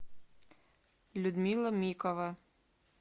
людмила микова